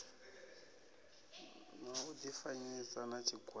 na u difanyisa na tshigwada